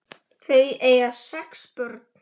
Þau eiga sex börn.